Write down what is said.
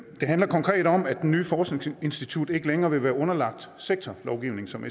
handler konkret om at det nye forskningsinstitut ikke længere vil være underlagt sektorlovgivningen som